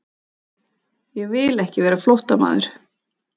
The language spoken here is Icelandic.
Ég vil ekki vera flóttamaður.